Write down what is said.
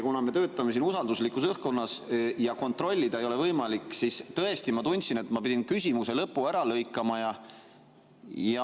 Kuna me töötame siin usalduslikus õhkkonnas ja kontrollida ei ole võimalik, siis tõesti ma tundsin, et ma pidin küsimuse lõpu ära lõikama.